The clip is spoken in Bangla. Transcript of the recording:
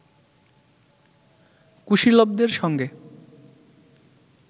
কুশীলবদের সঙ্গে